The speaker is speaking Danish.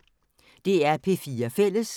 DR P4 Fælles